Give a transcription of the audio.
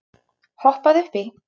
Hoppaðu upp í.